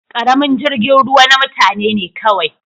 Karamin jirgin ruwa na mutane ne kawai.